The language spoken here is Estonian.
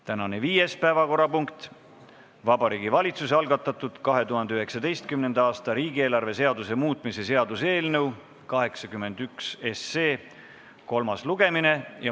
Tänane viies päevakorrapunkt: Vabariigi Valitsuse algatatud 2019. aasta riigieelarve seaduse muutmise seaduse eelnõu 81 kolmas lugemine.